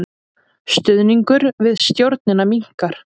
Stuðningur við stjórnina minnkar